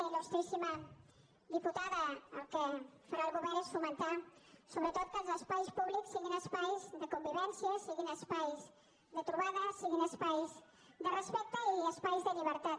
ilel govern és fomentar sobretot que els espais públics siguin espais de convivència siguin espais de trobada siguin espais de respecte i espais de llibertat